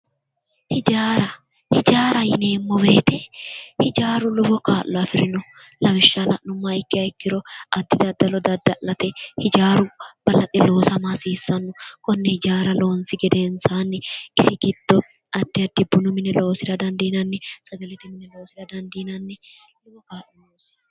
hijaara hijaara yineemmo woyte hijaaru lowo kaa'lo afirino lawishsha la'nummoha ikkiha ikkiro addi daddalo dadda'late hijaaaru balaxe loosama hasiissanno konne hijaara loonsi gedensaanni isi giddo addi bunu mine loosira dandiinanni sagalete mine loosira dandiinanni yaate